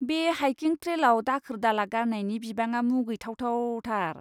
बे हाइकिं ट्रेलआव दाखोर दाला गारनायनि बिबाङा मुगैथाव थाव थार ।